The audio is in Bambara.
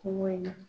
Kuma in na